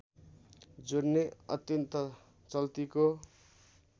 जोडने अत्यन्त चल्तीको